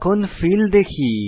এখন ফিল দেখি